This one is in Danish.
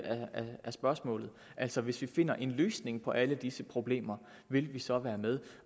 af spørgsmålet altså hvis vi finder en løsning på alle disse problemer vil vi så være med